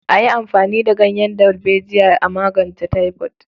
A yi amfani da ganyen dalbejiya a magance taifod.